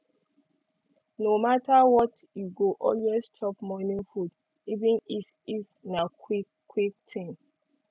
no matter what e go always chop morning food even if if na quick quick thing